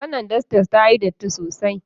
Wannan dastar tayi datti sosai.